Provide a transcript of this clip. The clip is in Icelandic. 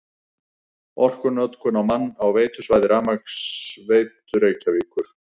Orkunotkun á mann á veitusvæði Rafmagnsveitu Reykjavíkur